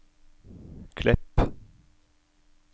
Klepp